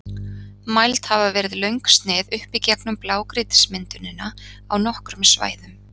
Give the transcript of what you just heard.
Mæld hafa verið löng snið upp í gegnum blágrýtismyndunina á nokkrum svæðum.